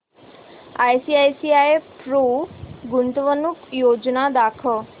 ICICI Pru गुंतवणूक योजना दाखव